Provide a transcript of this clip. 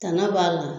Tanna b'a la